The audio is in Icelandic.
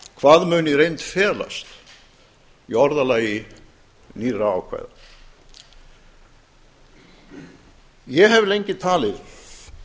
hvað muni í reynd felast í orðalagi nýrra ákvæða ég hef lengi talið